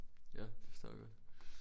Ja det forstår jeg godt